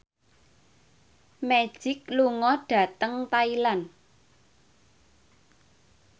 Magic lunga dhateng Thailand